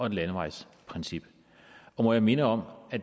et landevejsprincip og må jeg minde om at